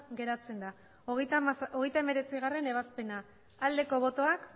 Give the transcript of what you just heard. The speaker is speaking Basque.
geratzen da hogeita hemeretzigarrena ebazpena aldeko botoak